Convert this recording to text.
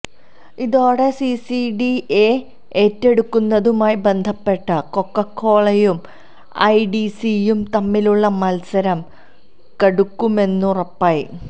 ഇതോടെ സിസിഡിയെ ഏറ്റെടുക്കുന്നതുമായി ബന്ധപ്പെട്ട് കൊക്കക്കോളയും ഐടിസിയും തമ്മിലുളള മത്സരം കടുക്കുമെന്നുറപ്പായി